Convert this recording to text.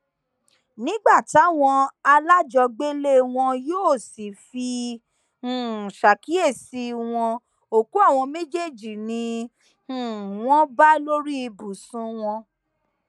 nígbà táwọn alájọgbélé wọn yóò sì fi um ṣàkíyèsí wọn òkú àwọn méjèèjì ni um wọn bá lórí ibùsùn wọn